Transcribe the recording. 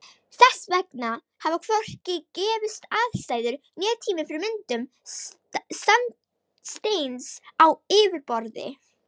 Þess vegna hafa hvorki gefist aðstæður né tími fyrir myndun sandsteins á yfirborði.